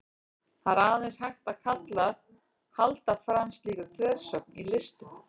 það er aðeins hægt að halda fram slíkri þversögn í listum